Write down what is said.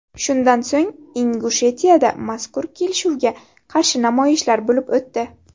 Shundan so‘ng, Ingushetiyada mazkur kelishuvga qarshi namoyishlar bo‘lib o‘tdi.